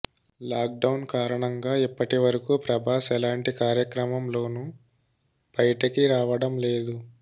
lock down కారణంగా ఇప్పటి వరకు ప్రభాస్ ఎలాంటి కార్యక్రమం లోనూ బయటికి రావడం లేదు